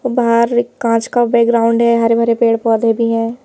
बाहर कांच का बैकग्राउंड है हरे भरे पेड़ पौधे भी है।